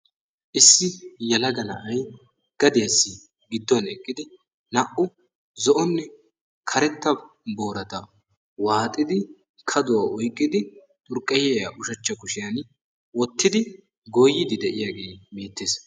Issi yelaga na'ay gadiyassi gidduwaan eqqidi naa''u zo'onne karetta boorata waaxxidi kaduwaa oyqqidi xurkkayiya ushachcha kushiyan wottidi goyyide de'iyaage beettee.